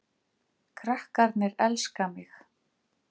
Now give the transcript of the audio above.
Krakkarnir elska mig